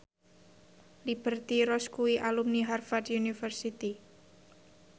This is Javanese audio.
Liberty Ross kuwi alumni Harvard university